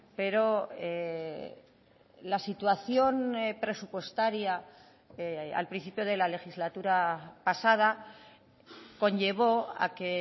pero la situación presupuestaria al principio de la legislatura pasada conllevó a que